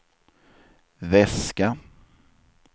väska